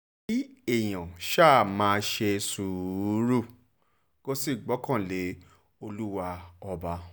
kí èèyàn ṣáà máa ṣe sùúrù kó sì gbọ́kàn lé olúwa ọba